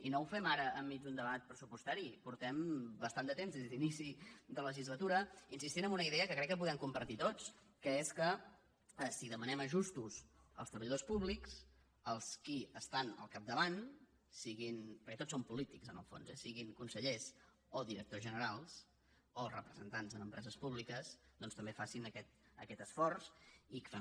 i no ho fem ara enmig d’un debat pressupostari fa bastant de temps des d’inici de legislatura que insistim en una idea que crec que podem compartir tots que és que si demanem ajustos als treballadors públics els qui estan al capdavant siguin perquè tots som polítics en el fons eh consellers o directors generals o representants en empreses públiques doncs també facin aquest esforç i que fem